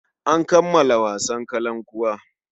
An kammala wasan kakankuwa.